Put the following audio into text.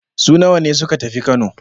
Su nawa ne suka tafi Kano?